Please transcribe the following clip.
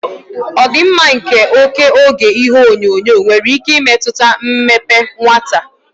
Ọdịmma nke oke oge ihuenyo nwere ike imetụta mmepe nwata.